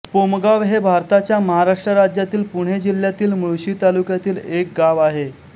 पोमगाव हे भारताच्या महाराष्ट्र राज्यातील पुणे जिल्ह्यातील मुळशी तालुक्यातील एक गाव आहे